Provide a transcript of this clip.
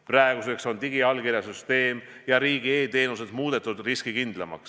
Praeguseks on digiallkirja süsteem ja riigi e-teenused muudetud riskikindlamaks.